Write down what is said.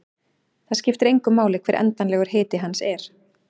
Það skiptir engu máli hver endanlegur hiti hans er.